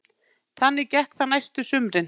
Þannig gekk það næstu sumrin.